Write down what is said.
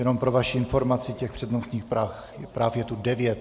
Jenom pro vaši informaci, těch přednostních práv je tu devět.